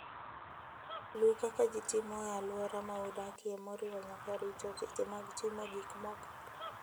Luw kaka ji timo e alwora ma udakie, moriwo nyaka rito seche mag timo gik moko.